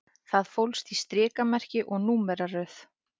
Það fólst í strikamerki og númeraröð